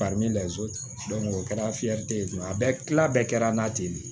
o kɛra ye a bɛɛ kila bɛɛ kɛra n'a ten de ye